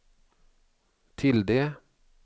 tilde